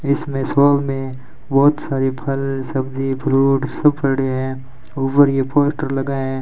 इसमें सोल में बहोत सारी फल सब्जी फ्रूट सब पड़े है ऊपर यह पोस्टर लगा --